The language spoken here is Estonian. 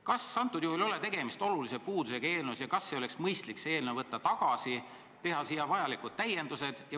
Kas antud juhul ei ole tegemist eelnõu olulise puudusega ja kas ei oleks mõistlik see eelnõu tagasi võtta ning teha sellesse vajalikud täiendused?